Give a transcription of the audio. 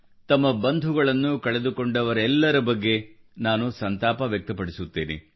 ತಮ್ಮ ಬಂಧುಗಳನ್ನು ಕಳೆದುಕೊಂಡವರೆಲ್ಲರ ಬಗ್ಗೆ ನಾನು ಸಂತಾಪ ವ್ಯಕ್ತಪಡಿಸುತ್ತೇನೆ